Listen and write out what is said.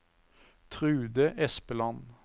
Trude Espeland